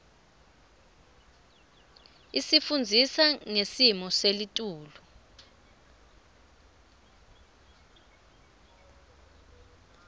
isifundzisa ngesimo selitulu